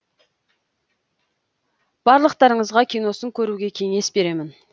барлықтарыңызға киносын көруге кеңес беремін